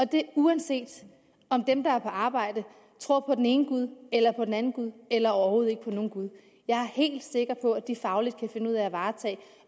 det uanset om dem der er på arbejde tror på den ene gud eller på den anden gud eller overhovedet ikke tror på nogen gud jeg er helt sikker på at de fagligt kan finde ud af at varetage